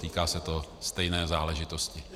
Týká se to stejné záležitosti.